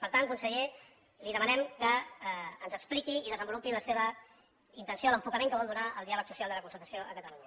per tant conseller li demanem que ens expliqui i desenvolupi la seva intenció l’enfocament que vol donar al diàleg social de la concertació a catalunya